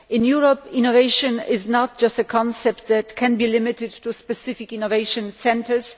In Europe, innovation is not just a concept that can be limited to specific innovation centres.